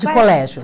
De colégio.